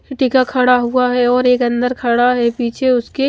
टिका खड़ा हुआ है और एक अन्दर खड़ा है पीछे उसके--